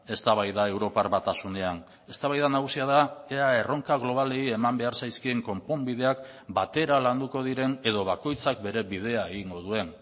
eztabaida europar batasunean eztabaida nagusia da ea erronka globalei eman behar zaizkien konponbideak batera landuko diren edo bakoitzak bere bidea egingo duen